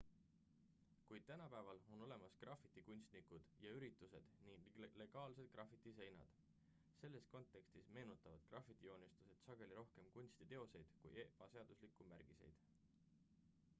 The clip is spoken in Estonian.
kuid tänapäeval on olemas grafitikunstnikud ja üritused ning legaalsed grafitiseinad selles kontekstis meenutavad grafitijoonistused sageli rohkem kunstiteoseid kui ebaseaduslikke märgiseid